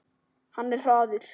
Hann er hraður.